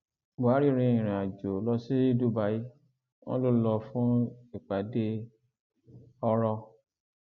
buhari rin ìrìnàjò lọ sí dubai wọn ló lọ fún ìpàdé ọrọ